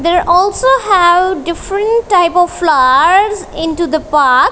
there also have different type of flowers into the park.